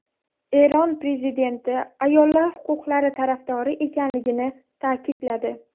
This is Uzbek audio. Eron prezidenti ayollar huquqlari tarafdori ekanligini ta’kidladi .